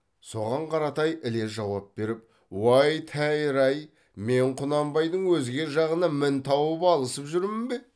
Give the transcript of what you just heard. соған қаратай іле жауап беріп уәй тәйір ай мен құнанбайдың өзге жағынан мін тауып алысып жүрмін бе